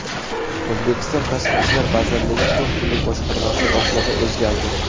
O‘zbekiston Tashqi ishlar vazirligi Konsullik boshqarmasi boshlig‘i o‘zgardi.